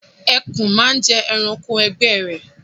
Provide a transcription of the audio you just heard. Ẹkùn máa ń jẹ ẹranko ẹgbẹ́ ẹ